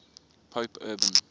pope urban